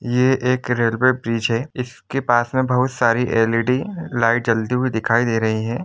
ये एक railway bridge हैं इस के पास मे बहुत सारे एल.इ.डि लाईट जलती हुई दिखाई दे रही हैं ।